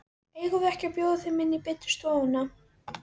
Eigum við ekki að bjóða þeim inn í betri stofuna?